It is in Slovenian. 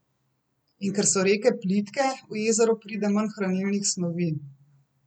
In ker so reke plitke, v jezero pride manj hranilnih snovi.